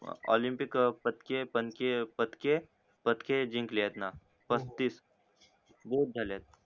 Olympic अं पतके पणके पतके पतके जिंकलेत ना पस्तीस